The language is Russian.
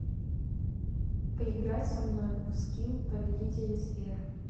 поиграй со мной в скилл повелители сфер